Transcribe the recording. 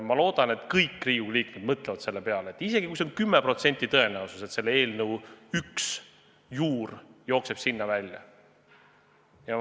Ma loodan, et kõik Riigikogu liikmed mõtlevad selle peale, et isegi kui on 10%-ne tõenäosus, et selle eelnõu üks juur jookseb sinna välja, siis kas seda eelnõu ikka on vaja.